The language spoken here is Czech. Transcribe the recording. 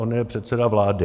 On je předseda vlády.